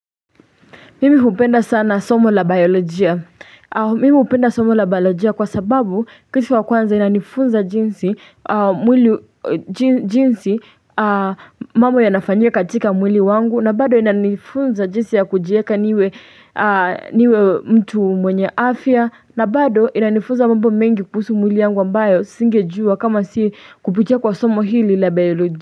Mimi upenda sana somo la biolojia. Mimi upenda somo la biolojia kwa sababu kisi wa kwanza inanifunza jinsi mwili jinsi mambo yanafanya katika mwili wangu. Na bado inanifunza jinsi ya kujieka niwe mtu mwenye afya. Na bado inanifunza mambo mengi kuhusu mwili yangu ambayo singejuwa kama si kupitia kwa somo hili la biolojia.